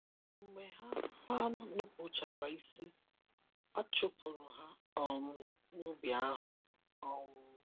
Mgbe ha ha nụpuchara ịsị,A chụpụrụ ha um n’ubi ahụ. um